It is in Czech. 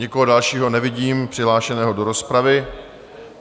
Nikoho dalšího nevidím přihlášeného do rozpravy.